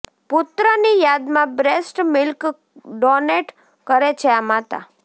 પુત્રની યાદમાં breast milk donate કરે છે આ માતા